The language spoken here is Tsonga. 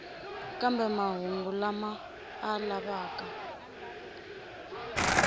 kambe mahungu lama a lavaka